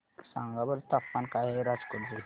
सांगा बरं तापमान काय आहे राजकोट चे